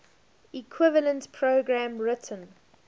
equivalent program written